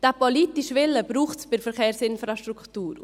Diesen politischen Willen braucht es bei der Verkehrsinfrastruktur.